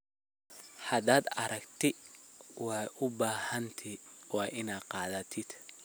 Hadad aragti waa ubaxanthy waa ina qadhatidh.